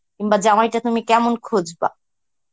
কিংবা জামাইটা তুমি কেমন খুজবা